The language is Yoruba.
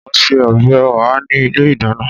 O n se ọbẹ Oha ni ile idana.